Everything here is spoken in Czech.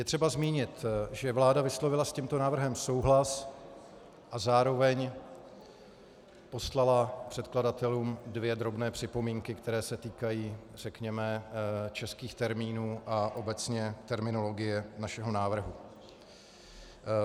Je třeba zmínit, že vláda vyslovila s tímto návrhem souhlas a zároveň poslala předkladatelům dvě drobné připomínky, které se týkají řekněme českých termínů a obecně terminologie našeho návrhu.